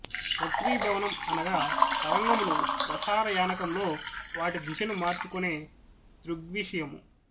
వక్రీభవనం అనగా తరంగములు ప్రసార యానకంలో వాటి దిశను మార్చుకొనే దృగ్విషయము